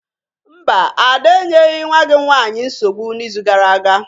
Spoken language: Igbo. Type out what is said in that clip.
Mba, Ada enyeghị nwa gị nwanyị nsogbu n'izu gara aga.